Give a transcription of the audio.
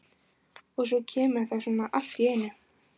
Og svo kemur það svona allt í einu.